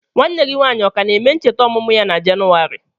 Nwanne gị ọ ka na-eme ncheta ọmụmụ ya na Jenụwarị?